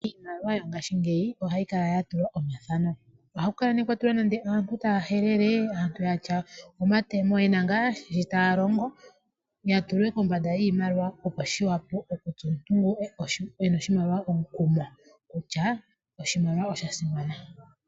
Iimaliwa yongashingeyi ohayi kala yatulwa omathano ohaku kala nee kwatulwa nande aantu taya helele nenge yena omatemo yena ngaa shitaya longo yatulwe kombanda yoshimaliwa opo shipe omuntu ngono ena oshimaliwa omukumo kutya oshimaliwa oshasima.